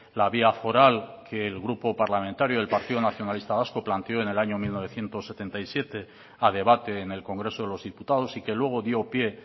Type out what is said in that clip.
la vía foral que el grupo parlamentario del partido nacionalista vasco planteó en el año mil novecientos setenta y siete a debate en el congreso de los diputados y que luego dio pie